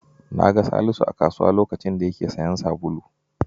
Na ga Salisu a kasuwa a lokacin da yake sayen sabulu.